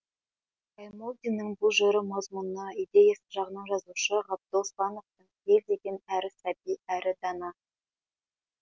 баймолдиннің бұл жыры мазмұны идеясы жағынан жазушы ғабдол слановтың ел деген әрі сәби әрі дана